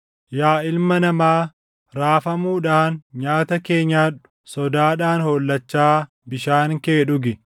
“Yaa ilma namaa, raafamuudhaan nyaata kee nyaadhu; sodaadhaan hollachaa bishaan kee dhugi.